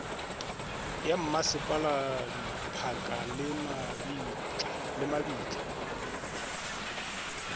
ya mmasepala diphaka le mabitla